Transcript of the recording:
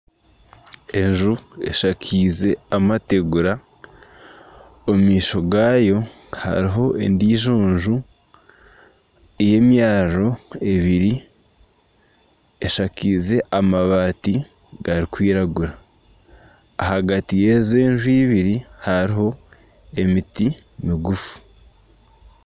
Enju eshakize amateegura omu maisho gaayo hariho endiijo nju y'emyariro ebiri eshakize amabaati garikwiragura ahagati y'ezi nju ibiri hariho emiti miguufu.